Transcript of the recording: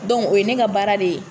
o ye ne ka baara de ye.